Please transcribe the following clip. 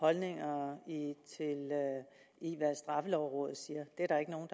holdninger i hvad straffelovrådet siger det er der ikke nogen